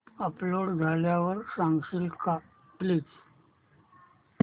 upload झाल्यावर सांगशील का प्लीज